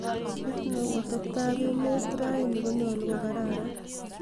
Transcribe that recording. kiit neu atebteab emeet raini konyolu kokararan